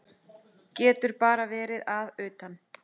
Getur bara verið að utan.